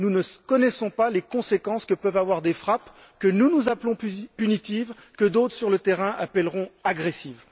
Nous ne connaissons pas les conséquences que peuvent avoir des frappes que nous, nous appelons punitives et que d'autres, sur le terrain, appelleront agressives.